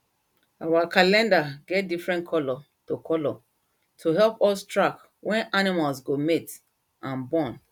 our calendar get different colour to colour to help us track when animals go mate and born